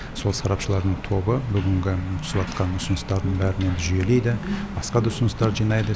сол сарапшылардың тобы бүгінгі түсіватқан ұсыныстардың бәрін енді жүйелейді басқа да ұсыныстарды жинайды